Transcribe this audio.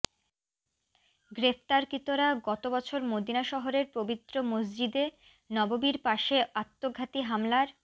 গ্রেপ্তারকৃতরা গত বছর মদিনা শহরের পবিত্র মসজিদে নববির পাশে আত্মঘাতি হামলার